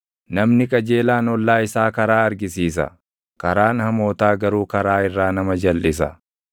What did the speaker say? Namni qajeelaan ollaa isaa karaa argisiisa; karaan hamootaa garuu karaa irraa nama jalʼisa.